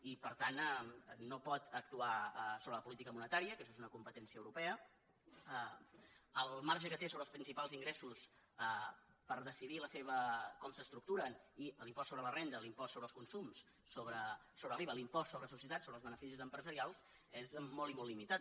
i per tant no pot actuar sobre la política mo netària que això és una competència europea el marge que té sobre els principals ingressos per decidir com s’estructuren i l’impost sobre la renda l’impost sobre els consums sobre l’iva l’impost sobre societats sobre els beneficis empresarials és molt i molt limitat